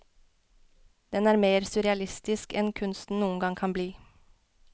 Den er mer surrealistisk enn kunsten noen gang kan bli.